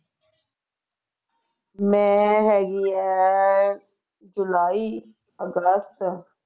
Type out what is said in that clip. ਮੈਂ ਹੈਗੀ ਆ ਜੁਲਾਈ ਅਗਸਤ